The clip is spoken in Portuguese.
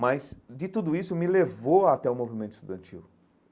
Mas, de tudo isso, me levou até o movimento estudantil.